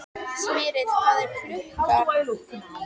Smyrill, hvað er klukkan?